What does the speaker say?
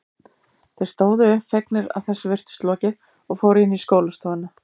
Þeir stóðu upp, fegnir að þessu virtist lokið og fóru inn í skólastofuna.